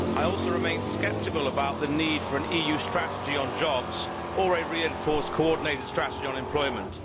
I also remain sceptical about the need for an EU strategy on jobs or a reinforced coordinated strategy on employment.